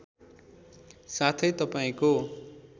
साथै तपाईँको